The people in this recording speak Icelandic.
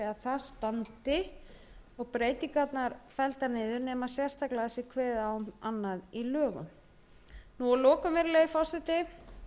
það standi og breytingarnar felldar niður nema sérstaklega sé kveðið á um annað í lögunum að lokum virðulegi